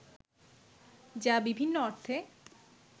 যা বিভিন্ন অর্থে